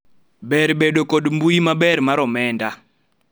ber bedo kod mbui maber mar omenda